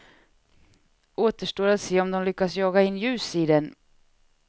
Återstår att se om de lyckas jaga in ljus i den.